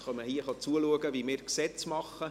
Sie kommen zuschauen, wie wir Gesetze machen.